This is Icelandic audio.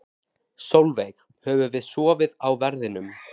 Sólveig: Höfum við sofið á verðinum?